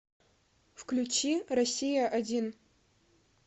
включи россия один